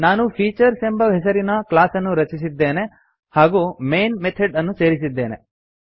ನಾನು ಫೀಚರ್ಸ್ ಎಂಬ ಹೆಸರಿನ ಕ್ಲಾಸ್ ಅನ್ನು ರಚಿಸಿದ್ದೇನೆ ಹಾಗೂ ಮೈನ್ ಮೆಥಡ್ ಅನ್ನು ಸೇರಿಸಿದ್ದೇನೆ